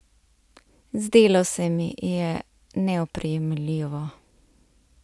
Zdelo se mi je neoprijemljivo.